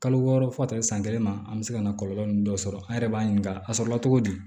Kalo wɔɔrɔ fo ka taa se san kelen ma an bɛ se ka na kɔlɔlɔ ninnu dɔ sɔrɔ an yɛrɛ b'a ɲininka a sɔrɔla togo di